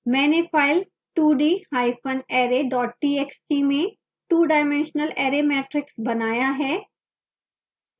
मैंने file 2darray txt में twodimensional array matrix बनाया है